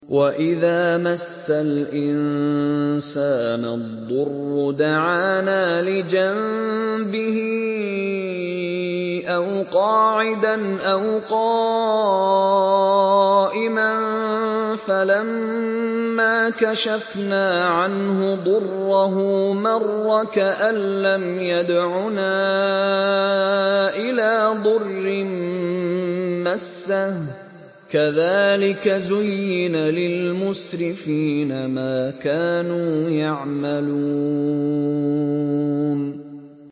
وَإِذَا مَسَّ الْإِنسَانَ الضُّرُّ دَعَانَا لِجَنبِهِ أَوْ قَاعِدًا أَوْ قَائِمًا فَلَمَّا كَشَفْنَا عَنْهُ ضُرَّهُ مَرَّ كَأَن لَّمْ يَدْعُنَا إِلَىٰ ضُرٍّ مَّسَّهُ ۚ كَذَٰلِكَ زُيِّنَ لِلْمُسْرِفِينَ مَا كَانُوا يَعْمَلُونَ